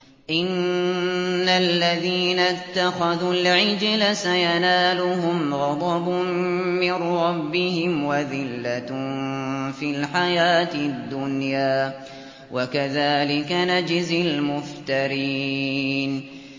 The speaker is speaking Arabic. إِنَّ الَّذِينَ اتَّخَذُوا الْعِجْلَ سَيَنَالُهُمْ غَضَبٌ مِّن رَّبِّهِمْ وَذِلَّةٌ فِي الْحَيَاةِ الدُّنْيَا ۚ وَكَذَٰلِكَ نَجْزِي الْمُفْتَرِينَ